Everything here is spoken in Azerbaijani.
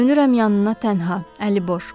Dönürəm yanına tənha, əliboş.